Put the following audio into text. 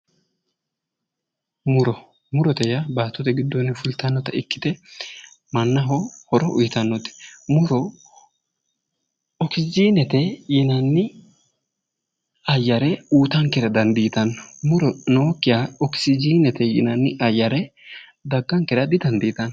Moro murote yaa baattote giddonni fultannota ikkite mannaho horo uyitannote muro okisjiinete yinanni ayyare uyitankera dandiitanno muro nookkiha okisjiinete yinanni ayyare daggankera didandiitanno